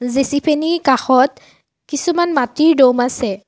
জেচিপিনিৰ কাষত কিছুমান মাটিৰ দ'ম আছে।